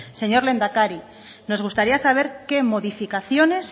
señor lehendakari nos gustaría saber qué modificaciones